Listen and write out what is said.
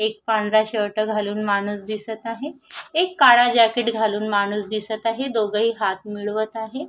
एक पांढरा शर्ट घालून माणूस दिसत आहे एक काळा जॅकेट घालून माणूस दिसत आहे दोघही हात मिळवत आहे.